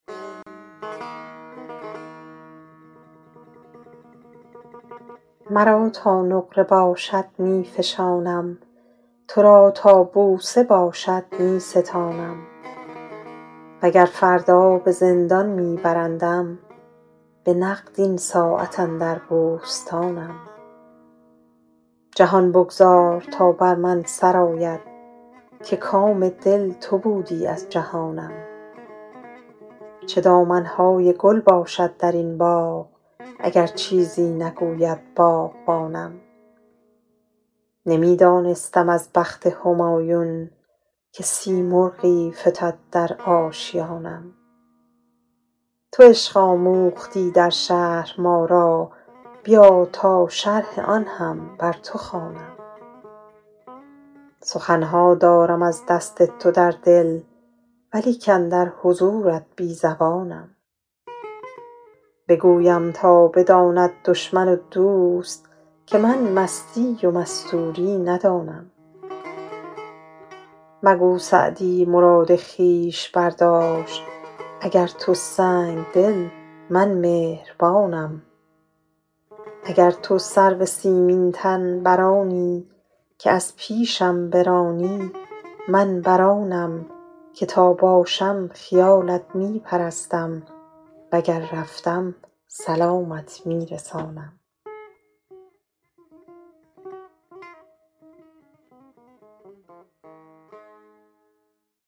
مرا تا نقره باشد می فشانم تو را تا بوسه باشد می ستانم و گر فردا به زندان می برندم به نقد این ساعت اندر بوستانم جهان بگذار تا بر من سر آید که کام دل تو بودی از جهانم چه دامن های گل باشد در این باغ اگر چیزی نگوید باغبانم نمی دانستم از بخت همایون که سیمرغی فتد در آشیانم تو عشق آموختی در شهر ما را بیا تا شرح آن هم بر تو خوانم سخن ها دارم از دست تو در دل ولیکن در حضورت بی زبانم بگویم تا بداند دشمن و دوست که من مستی و مستوری ندانم مگو سعدی مراد خویش برداشت اگر تو سنگدلی من مهربانم اگر تو سرو سیمین تن بر آنی که از پیشم برانی من بر آنم که تا باشم خیالت می پرستم و گر رفتم سلامت می رسانم